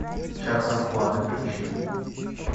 час расплаты включи